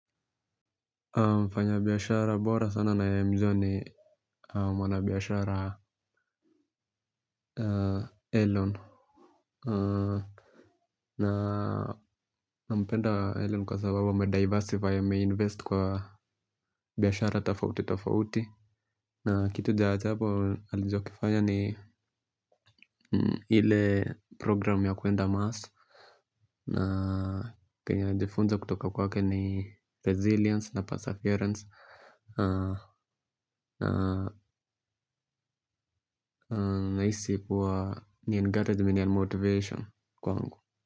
Mfanya biashara bora sana naye mjua ni mwana biashara Elon. Nampenda Elon kwa sababu amediversity ameinvest kwa biashara tafauti tafauti na kitu ja achapo alijokifanya ni ile program ya kuenda mars na kenye najifunza kutoka kwake ni resilience na perseverance na isi kuwa ni encouragement and motivation kwangu.